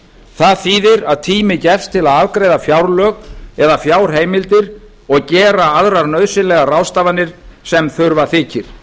það þýðir að tími gefst til að afgreiða fjárlög eða fjárheimildir og gera aðrar nauðsynlegar ráðstafanir sem þurfa þykir